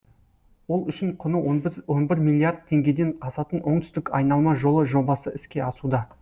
ол үшін құны он бір миллиард теңгеден асатын оңтүстік айналма жолы жобасы іске асуда